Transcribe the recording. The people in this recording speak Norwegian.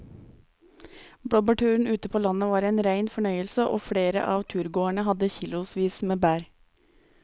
Blåbærturen ute på landet var en rein fornøyelse og flere av turgåerene hadde kilosvis med bær.